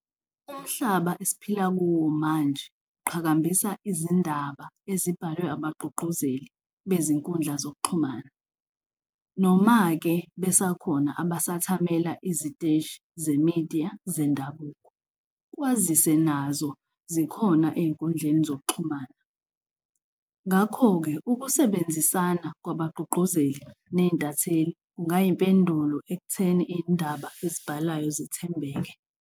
Umhlaba esiphila kuwo manje uqhakambisa izindaba ezibhalwe abagqugquzeli bezinkundla zokuxhumana, noma-ke besakhona abasathamela iziteshi ze-media zendabuko kwazise nazo zikhona ey'nkundleni zokuxhumana. Ngakho-ke, ukusebenzisana kwabagqugquzeli ney'ntatheli kungayimpendulo ekutheni iy'ndaba ezibhalwayo zithembeke.